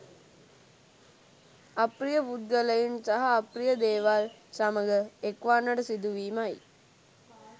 අප්‍රිය පුද්ගලයින් සහ අප්‍රිය දේවල් සමඟ එක්වන්නට සිදුවීමයි.